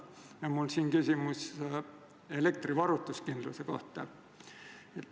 Mul on küsimus elektrivarustuskindluse kohta.